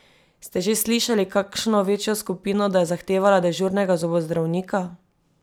Ste že slišali kakšno večjo skupino, da je zahtevala dežurnega zobozdravnika?